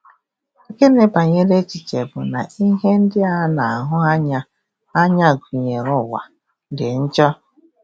Gịnị banyere echiche bụ na ihe ndị a na-ahụ anya, anya, gụnyere ụwa, dị njọ?